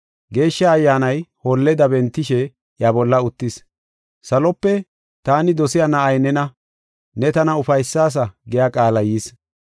Geeshsha Ayyaanay holleda bentishe iya bolla uttis. Salope “Taani dosiya na7ay nena; ne tana ufaysaasa” giya qaalay yis.